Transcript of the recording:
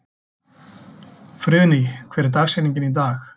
Friðný, hver er dagsetningin í dag?